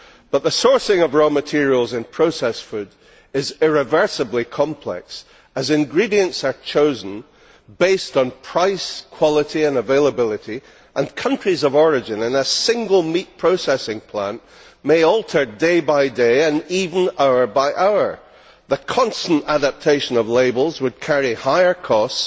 But the sourcing of raw materials in processed food is irreversibly complex, as ingredients are chosen based on price, quality and availability and countries of origin in a single meat processing plant may alter day by day, and even hour by hour. The constant adaptation of labels would carry higher costs